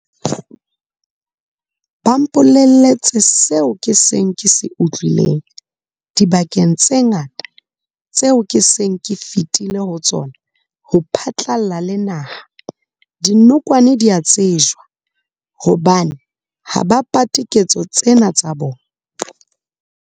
Ba mpolelletse seo ke seng ke se utlwileng dibakeng tse ngata tseo ke seng ke fetile ho tsona ho phatlalla le naha- dinokwane di a tsejwa hobane ha ba pate ketso tsena tsa tsona.